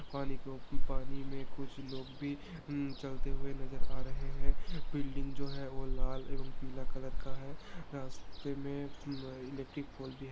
पानी के उप पानी मे कुछ लोग भी अ चलते हुए नज़र आ रहे है बिल्डिंग जो है वो लाल एवं पीला कलर का है रास्ते मे म इलेक्ट्रिक पोल भी है।